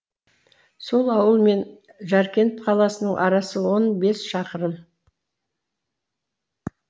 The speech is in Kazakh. сол ауыл мен жәркент қаласының арасы он бес шақырым